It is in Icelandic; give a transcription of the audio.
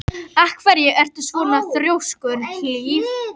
Af hverju ertu svona þrjóskur, Hlíf?